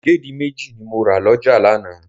Ìdèdí méjì ni mo rà lọ́jà lánàá.